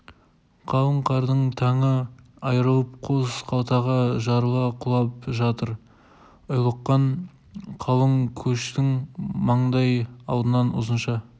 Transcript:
қалың қардың таңы айырылып қос қапталға жарыла құлап жатыр ұйлыққан қалың көштің маңдай алдынан ұзынша